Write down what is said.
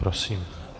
Prosím.